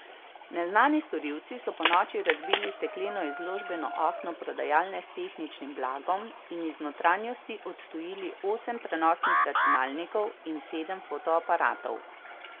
Neznani storilci so ponoči razbili stekleno izložbeno okno prodajalne s tehničnim blagom in iz notranjosti odtujili osem prenosnih računalnikov in sedem fotoaparatov.